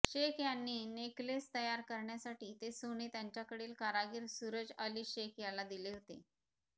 शेख यांनी नेकलेस तयार करण्यासाठी ते सोने त्यांच्याकडील कारागीर सूरजअली शेख याला दिले होते